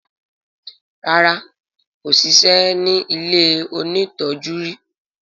ràrá kò sisẹ́ ní ilẹ òní tọjú rí.